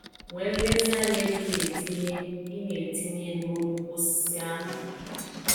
Nwee nlezianya ebe ị na-etinye ị na-etinye elu nnukwu osisi ahụ.